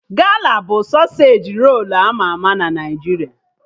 Gala bụ sọsej rolu ama ama na Naijiria